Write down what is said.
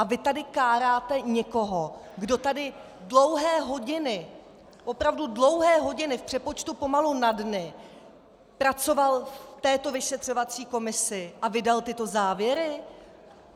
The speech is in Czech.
A vy tady káráte někoho, kdo tady dlouhé hodiny, opravdu dlouhé hodiny, v přepočtu pomalu na dny pracoval v této vyšetřovací komisi a vydal tyto závěry?